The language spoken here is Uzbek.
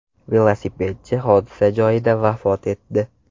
Velosipedchi hodisa joyida vafot etdi.